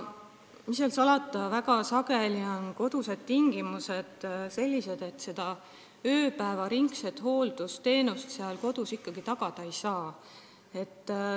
Mis seal salata, väga sageli on kodused tingimused sellised, et ööpäevaringset hooldusteenust seal ikkagi tagada ei saa.